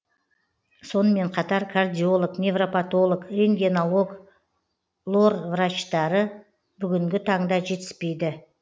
сонымен қатар кардиолог невропатолог рентгенолог лор врачтары бүгінгі таңда жетіспейді